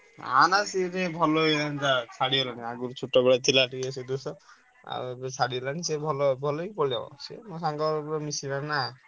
ନା ନା ସିଏ ଟିକେ ଭଲ ହେଇଗଲାଣି ତାର ଛାଡ଼ିଗଲାଣି ଆଗରୁ ଛୋଟବେଳେ ଥିଲା ସେ ଦୋଷ ଆଉ ଏବେ ଛାଡ଼ିଗଲାଣି ସେ ଭଲ ଭଲ ହେଇକି ପଳେଇବ ସିଏ ମୋ ସାଙ୍ଗ ରେ ପୁରା ମିଶିଗଲାଣି ନା।